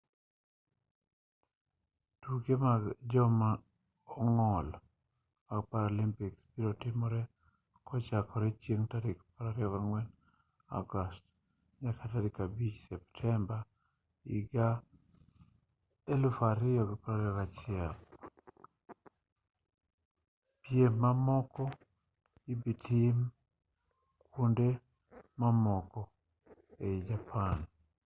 tuke mag joma ong'ol mag paralympics biro timore kochakore chieng' tarik 24 agost nyaka 5 septemba 2021 pirm mamoko ibitim kuonde mamoko ei japan